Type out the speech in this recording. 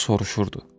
O soruşurdu.